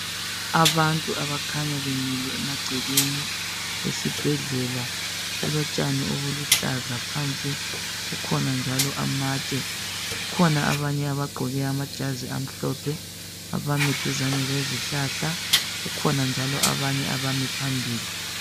Abantu abakhanya bemile emagcekeni esibhedlela. Kulotshani obuluhlaza phansi, kukhona njalo amatshe. Kukhona abanye abagqoke amajazi amhlophe, abami duzane lezihlahla, kukhona njalo abanye abami phambili.